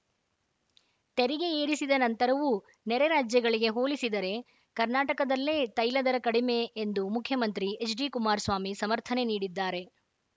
ತೆರಿಗೆ ಏರಿಸಿದ ನಂತರವೂ ನೆರೆ ರಾಜ್ಯಗಳಿಗೆ ಹೋಲಿಸಿದರೆ ಕರ್ನಾಟಕದಲ್ಲೇ ತೈಲ ದರ ಕಡಿಮೆ ಎಂದು ಮುಖ್ಯಮಂತ್ರಿ ಎಚ್‌ಡಿಕುಮಾರಸ್ವಾಮಿ ಸಮರ್ಥನೆ ನೀಡಿದ್ದಾರೆ